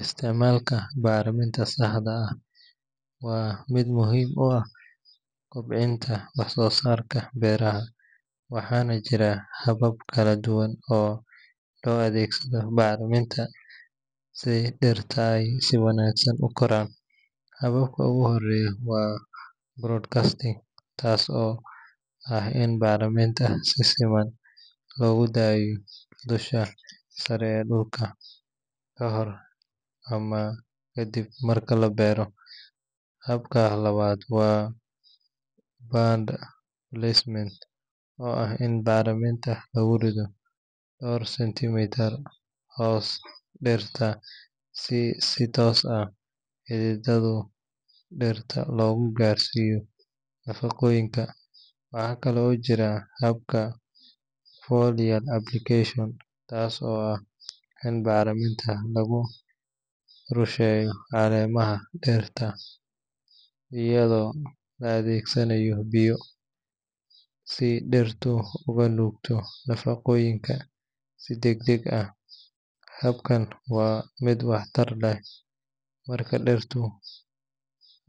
Isticmaalka bacriminta si sax ah waa mid muhiim u ah kobcinta wax soo saarka beeraha, waxaana jira habab kala duwan oo loo adeegsado bacriminta si dhirta ay si wanaagsan u koraan. Habka ugu horeeya waa broadcasting, taas oo ah in bacriminta si siman loogu daadiyo dusha sare ee dhulka ka hor ama ka dib marka la beero. Habka labaad waa band placement, oo ah in bacriminta lagu rido dhowr senti mitir hoosta dhirta si si toos ah xididada dhirta loogu gaarsiiyo nafaqooyinka. Waxaa kale oo jirta habka foliar application, taas oo ah in bacriminta lagu rusheeyo caleemaha dhirta iyadoo la adeegsanayo biyo, si dhirtu uga nuugto nafaqooyinka si degdeg ah. Habkan waa mid waxtar leh marka dhirtu